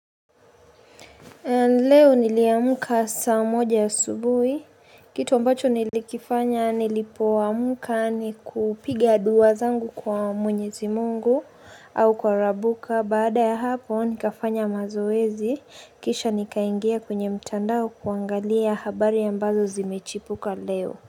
Leo niliamka saa moja asubuhi. Kitu ambacho nilikifanya nilipoamka nikupiga dua zangu kwa mwenyezi mungu au kwa rabuka. Baada ya hapo, nikafanya mazoezi. Kisha nikaingia kwenye mtandao kuangalia habari ambazo zimechipuka leo.